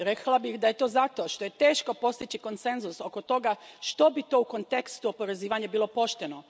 Rekla bih da je to zato što je teško postići konsenzus oko toga što bi to u kontekstu oporezivanja bilo pošteno.